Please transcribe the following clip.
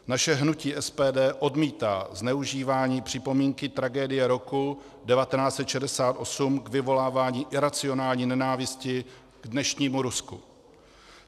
Naše hnutí SPD odmítá zneužívání připomínky tragédie roku 1968 k vyvolávání iracionální nenávisti k dnešnímu Rusku.